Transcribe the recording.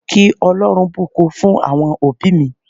Kí Ọlọ́run bùkún fún àwọn òbí mi